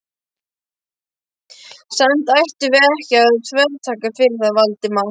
Samt ættum við ekki að þvertaka fyrir það, Valdimar.